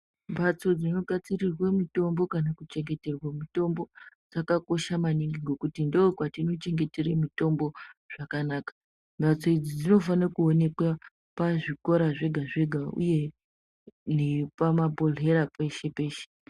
Mbatso dzinogadzirirwe mitombo kana kuchengeterwe mitombo dzakakosha maningi ngokuti ndookwatinochengetere mutombo zvakanaka. Mhatso idzi dzinofane kuoneka pazvikora zvega-zvega uye nepamabhohlera peshe-peshe.